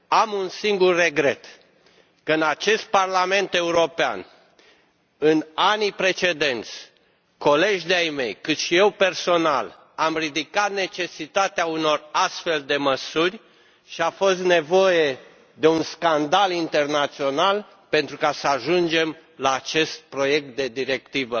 Am un singur regret că în acest Parlament European, în anii precedenți, colegi de ai mei, cât și eu personal, am ridicat necesitatea unor astfel de măsuri și a fost nevoie de un scandal internațional ca să ajungem la acest proiect de directivă.